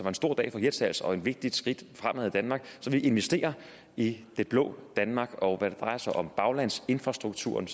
en stor dag for hirtshals og et vigtigt skridt fremad i danmark så vi investerer i det blå danmark og når det drejer sig om baglandsinfrastrukturen